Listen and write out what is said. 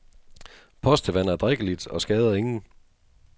Postevand er drikkeligt og skader ingen.